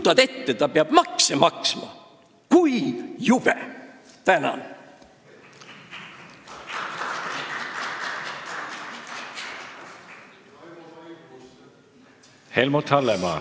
Kujutad ette, ta peab makse maksma – kui jube!